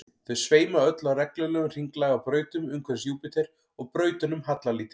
þau sveima öll á reglulegum hringlaga brautum umhverfis júpíter og brautunum hallar lítið